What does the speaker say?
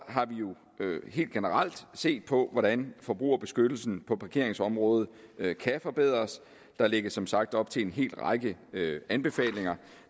har vi jo helt generelt set på hvordan forbrugerbeskyttelsen på parkeringsområdet kan kan forbedres der lægges som sagt op til en hel række anbefalinger